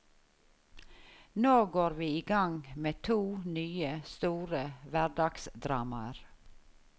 Nå går vi i gang med to nye, store hverdagsdramaer.